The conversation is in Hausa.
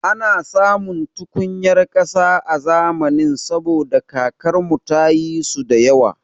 Ana samun tukunyar ƙasa a zamanin saboda kakar mu ta yi su da yawa